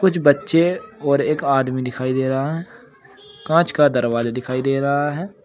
कुछ बच्चे और एक आदमी दिखाई दे रहा है कांच का दरवाजा दिखाई दे रहा है।